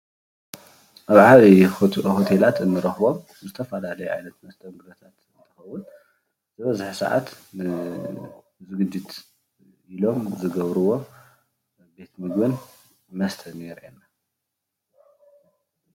ኣብ ዓብዩ ሆቴላት እንረኽቦም ዝተፈላለዩ ዓይነታት መስተንጉዶታት እንትኸውን ዝበዝሕ ሰዓት ንዝግጅት ኢሎም ዝገብርዎ ቤት ምግብታትን መስታትን ይረአየና።